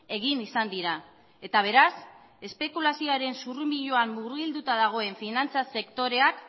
egin izan dira eta beraz espekulazioaren zurrunbiloan murgilduta dagoen finantza sektoreak